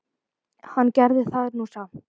Hann gerði það nú samt.